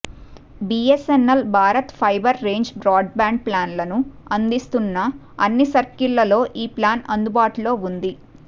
BSNL Bharat fibre range broadband ప్లాన్లను అందిస్తున్న అన్ని సర్కిల్లలో ఈ ప్లాన్ అందుబాటులో ఉంది